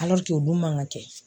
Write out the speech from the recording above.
o dun man ka kɛ de.